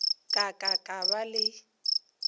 ka ka ka ba le